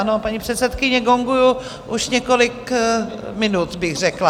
Ano, paní předsedkyně, gonguju už několik minut, bych řekla.